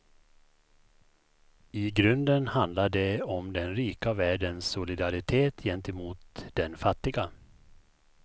I grunden handlar det om den rika världens solidaritet gentemot den fattiga.